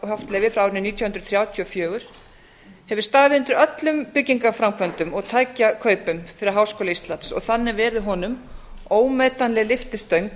haft leyfi frá árinu nítján hundruð þrjátíu og fjögur hefur staðið undir öllum byggingarframkvæmdum og tækjakaupum fyrir háskóla íslands og þannig verið honum ómetanleg lyftistöng